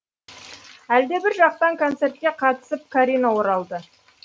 әлдебір жақтан концертке қатысып карина оралды